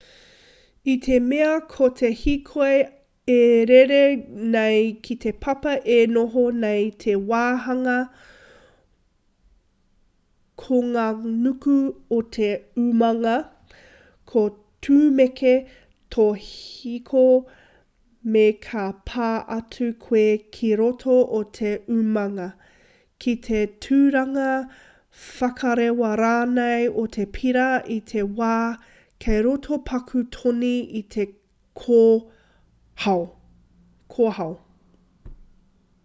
i te mea ko te hiko e rere nei ki te papa e noho nei te wāhanga konganuku o te umanga ka tūmeke tō hiko me ka pā atu koe ki roto o te umanga ki te turanga whakarewa rānei o te pēra i te wā kei roto paku toni i te kōhao